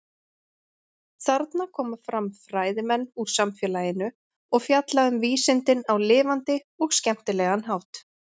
Þarna koma fram fræðimenn úr samfélaginu og fjalla um vísindin á lifandi og skemmtilega hátt.